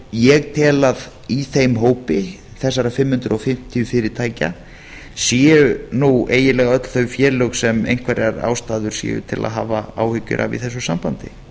ég tel að í þeim hópi ég tel að í þeim hópi þessara fimm hundruð fimmtíu fyrirtækja séu nú eiginlega öll þau félög sem einhverjar ástæður séu til að hafa áhyggjur af í þessu sambandi